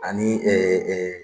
Ani .